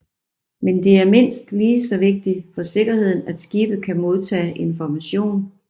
Men det er mindst ligeså vigtigt for sikkerheden at skibe kan modtage information